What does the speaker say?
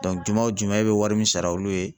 juma o juma, olu bɛ wari min sara olu ye